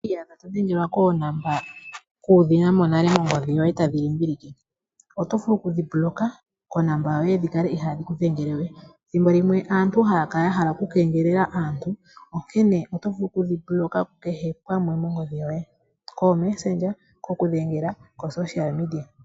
Ngele owi iyadha to dhengelwa koonomola kuudhina mo nale mongodhi yoye tadhi limbilike. Oto vulu oku dhiblock konomola yoye dhi kale ihaadhi ku dhengele we. Thimbo limwe aantu haya kala ya hala oku kengelela aantu. Onkene oto vulu oku dhiblock ku kehe pamwe mongodhi yoye. Kuutumwalaka uufupi, kokudhengela komapandja gopawugomba.